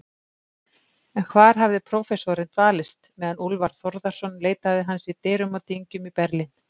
En hvar hafði prófessorinn dvalist, meðan Úlfar Þórðarson leitaði hans dyrum og dyngjum í Berlín?